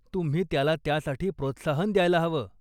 तुम्ही त्याला त्यासाठी प्रोत्साहन द्यायला हवं.